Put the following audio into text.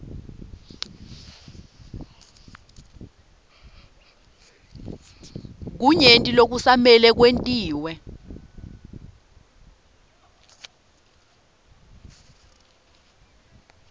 kunyenti lokusamele kwentiwe